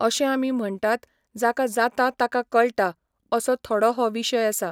अशें आमी म्हणटात जाका जाता ताका कळटा असो थोडो हो विशय आसा.